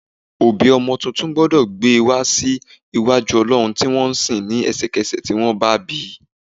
Òbí ọmọ tuntun gbọ́dọ̀ gbé wa sí iwájú olọrun tí wọ́n ń sìn ní ẹsẹkese tí wọ́n bá bi.